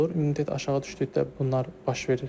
İmmunitet aşağı düşdükdə bunlar baş verir heyvanlarda.